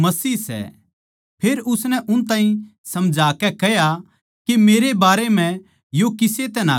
फेर उसनै उन ताहीं समझाकै कह्या के मेरै बारै म्ह यो किसे तै ना कहियो